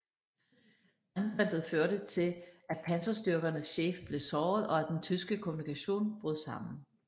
Angrebet førte til at panserstyrkernes chef blev såret og at den tyske kommunikation brød sammen